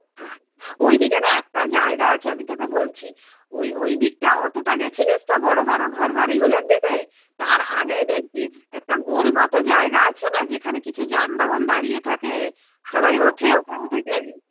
ওই দিকে না একটা জায়গা আছে আমি তোকে বলছি ওই ঐদিকটা অতটা গেছিলিস তো বড়ো বড়ো ঘর বাড়িগুলোর দিকে তার আগেই একটা গোল মতো জায়গা আছে না যেখানে কিছু যানবাহন দাঁড়িয়ে থাকে সবাই থেকেই